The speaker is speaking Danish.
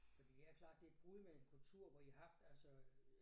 Fordi ja klart det et brud med en kultur hvor I har haft altså øh